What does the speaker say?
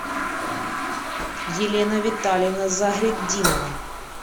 елена витальевна загретдинова